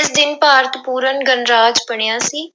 ਇਸ ਦਿਨ ਭਾਰਤ ਪੂਰਨ ਗਣਰਾਜ ਬਣਿਆ ਸੀ।